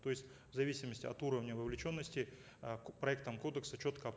то есть в зависимости от уровня вовлеченности э проектом кодекса четко